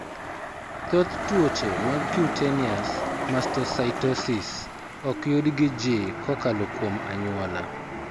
Thoth tuoche mag cutaneous mastocytosis ok yud ji kokalo kuom anyuola.